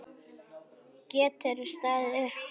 Geturðu staðið upp?